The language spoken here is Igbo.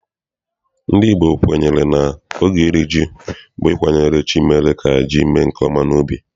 NdỊ Igbo kwenyere na oge iri ji bụ ịkwanyere chi mere ka ji mee nke ọma n'ubi.